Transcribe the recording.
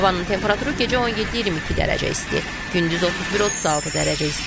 Havanın temperaturu gecə 17-22 dərəcə isti, gündüz 31-36 dərəcə isti.